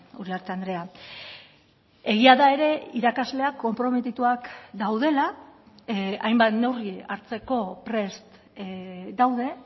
uriarte andrea egia da ere irakasleak konprometituak daudela hainbat neurri hartzeko prest daude